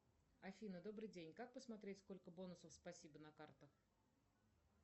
афина добрый день как посмотреть сколько бонусов спасибо на картах